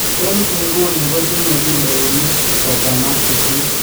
eng inguno kotinye kilonik sosom ak sisit